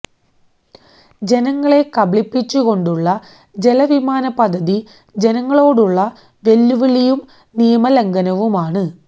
ജനങ്ങളെ കബളിപ്പിച്ചു കൊണ്ടുള്ള ജലവിമാന പദ്ധതി ജനങ്ങളോടുള്ള വെല്ലുവിളിയും നിയമ ലംഘനവുമാണ്